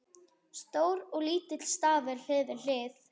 Stór og lítill stafur hlið við hlið.